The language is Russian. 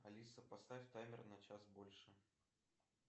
алиса поставь таймер на час больше